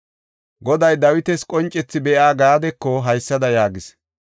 Goday Dawita qoncethi be7iya Gaadeko haysada yaagis;